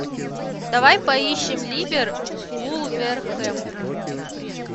давай поищем ливер вулверхэмптон